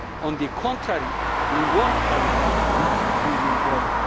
On the contrary we want Parliament to be fully involved.